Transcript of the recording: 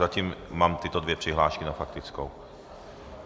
Zatím mám tyto dvě přihlášky na faktickou.